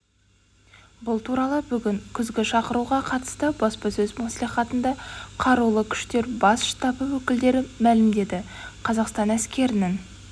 бұл туралы бүгін күзгі шақыруға қатысты баспасөз мәслихатында қарулы күштер бас штабы өкілдері мәлімдеді қазақстан әскерінің